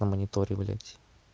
на мониторе блять